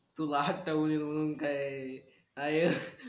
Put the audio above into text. तू आता बोललील मणून काय आय